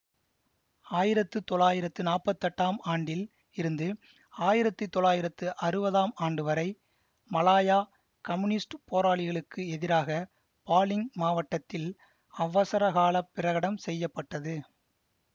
ஆயிரத்து தொள்ளாயிரத்து நாற்பத்தி எட்டாம் ஆண்டில் இருந்து ஆயிரத்தி தொள்ளாயிரத்து அறுபதாம் ஆண்டு வரை மலாயா கம்னியூஸ்டுப் போராளிகளுக்கு எதிராக பாலிங் மாவட்டத்தில் அவசரகாலப் பிரகடம் செய்ய பட்டது